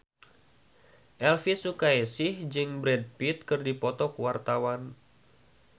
Elvy Sukaesih jeung Brad Pitt keur dipoto ku wartawan